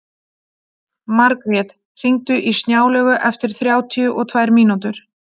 Margrjet, hringdu í Snjálaugu eftir þrjátíu og tvær mínútur.